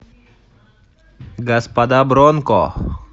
господа бронко